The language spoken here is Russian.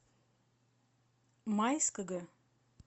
майского